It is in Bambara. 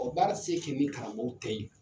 O baara ti se kɛ ni kalanbaw tɛ yen